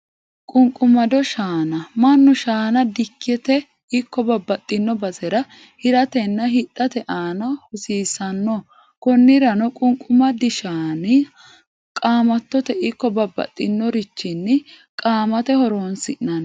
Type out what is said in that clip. qu'nqumado Shaana, manu shaana dikkite ikko babaxino bassera hiratenna hidhate aanna hosiisano konirano qu'nqumadi shaanna qaamatotte ikko babaxinorichini qaamate horonsinanni.